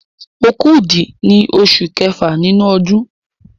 Òkúdù ni oṣù kẹfà nínú ọdún.